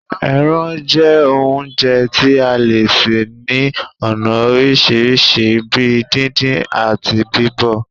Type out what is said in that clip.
Ẹrán jẹ́ oúnjẹ tí a le sè ní ònà orisirisi bíi díndín, ati bíbọ̀